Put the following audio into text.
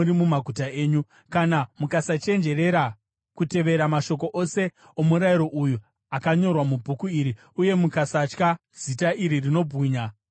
Kana mukasachenjerera kutevera mashoko ose omurayiro uyu, akanyorwa mubhuku iri, uye mukasatya zita iri rinobwinya uye rinotyisa,